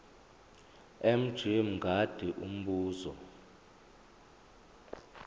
mj mngadi umbuzo